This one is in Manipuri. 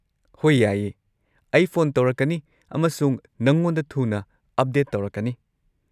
ꯍꯣꯏ, ꯌꯥꯏꯌꯦ, ꯑꯩ ꯐꯣꯟ ꯇꯧꯔꯛꯀꯅꯤ ꯑꯃꯁꯨꯡ ꯅꯉꯣꯟꯗ ꯊꯨꯅ ꯑꯞꯗꯦꯠ ꯇꯧꯔꯛꯀꯅꯤ꯫